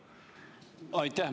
Aitäh!